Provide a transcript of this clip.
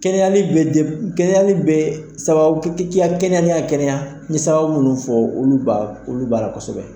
Kɛnɛyali be kɛnɛyali bɛ sababu i ka kɛnɛya ne ka kɛnɛya, n ɲe sababu munnu fɔ, olu b'a la kosɛbɛ